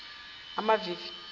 amavivi